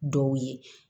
Dɔw ye